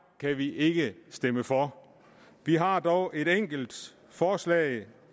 kan vi ikke stemme for vi har dog et enkelt forslag